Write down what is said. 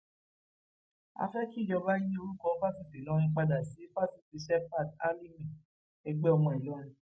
a fẹ kíjọba yí orúkọ fáṣítì ìlọrin padà sí fásitì shepherd alímì ẹgbẹ ọmọ ìlọrin